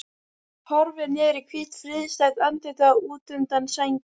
Horfir niður í hvítt, friðsælt andlitið útundan sænginni.